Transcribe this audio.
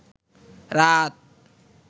রাত